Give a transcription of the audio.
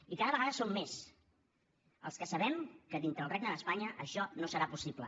i cada vegada som més els que sabem que dintre el regne d’espanya això no serà possible